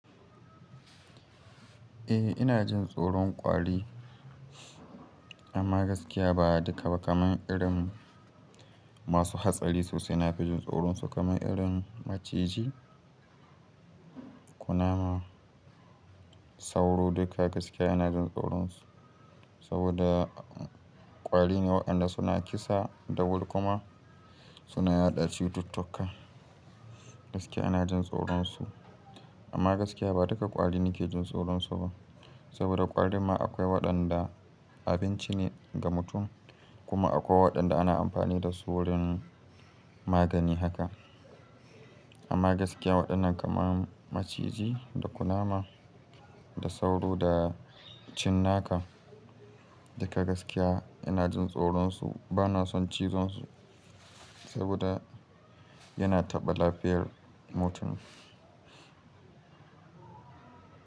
Eh ina jin tsoron kwari, amma gaskiya ba duka ba kaman irin masu hatsari sosai na fi jin tsoron su kaman irin maciji, kunama, sauro duka gaskiya ina jin tsoron su. Saboda kwari ne waɗanda suna kisa da wuri kuma suna yaɗa cututtuka gaskiya ina jin tsoron su. Amma gaskiya ba duka ƙwari nake jin tsoron su ba, saboda ƙwarin ma akwai waɗanda abinci ne ga mutum, kuma akwai waɗanda ana amfani da su wurin magani haka. Amma gaskiya waɗannan kamar maciji da kunama da sauro da cinnaka duka gaskiya ina jin tsoron su bana son cizon su saboda-- yana taɓa lafiyar mutum.